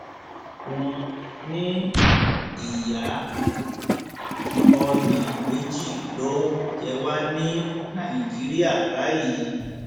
wọn ní ìyá ọnà méjì ló ń jẹ wá ní nàìjíríà báyìí